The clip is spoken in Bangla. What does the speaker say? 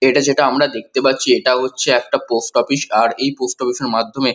এটা যেটা আমরা দেখতে পাচ্ছি এটা হচ্ছে একটা পোস্ট অফিস আর এই পোস্ট অফিস এর মাধ্যমে--